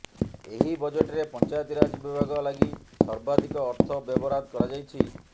ଏହି ବଜେଟରେ ପଞ୍ଚାୟତିରାଜ ବିଭାଗ ଲାଗି ସର୍ବାଧିକ ଅର୍ଥ ବ୍ୟୟବରାଦ କରାଯାଇଛି